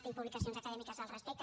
tinc publicacions acadèmiques al respecte